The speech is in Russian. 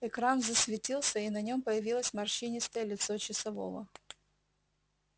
экран засветился и на нем появилось морщинистое лицо часового